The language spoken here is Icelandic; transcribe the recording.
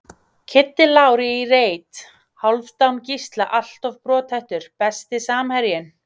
Kiddi Lár í reit, Hálfdán Gísla alltof brothættur Besti samherjinn?